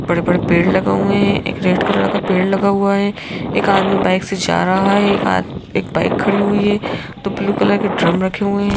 बड़े-बड़े पेड़ लगे हुए हैं एक रेड कलर का पेड़ लगा हुआ है एक आदमी बाइक से जा रहा है एक आद एक बाइक खड़ी हुई है दो ब्लू कलर के ड्रम रखे हुए हैं।